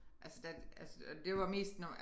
Altså da altså og det var mest når man